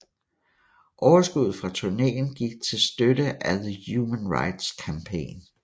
Overskuddet fra turnéen gik til støtte af the Human Rights Campaign